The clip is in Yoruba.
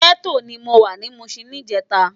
Gètó ni mó wá ni Mushin nijètá